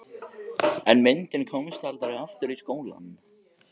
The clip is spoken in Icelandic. En myndin komst aldrei aftur í skólann.